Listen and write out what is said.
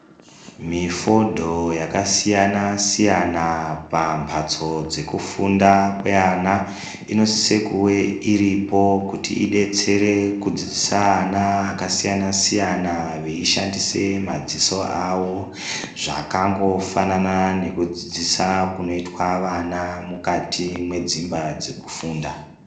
Mifodho yakasiyana siyana pamhatso dzekufunda kweana inosise kuwe iripo kuti idetsere kudzidzise ana akasiyana siyana veishandise madziso awo, zvakangofanana nekudzidzisa kunoitwa vana mukati mwedzimba dzekufunda